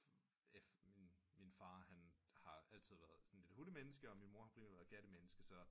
Min far har altid været et hundemenneske og min mor har være primært et katte menneske så